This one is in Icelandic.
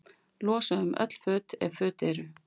Losa um öll föt, ef föt eru.